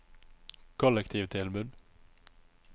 kollektivtilbud